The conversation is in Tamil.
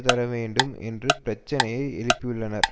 தரவேண்டும் என்ற பிரச்சினையை எழுப்பியுள்ளனர்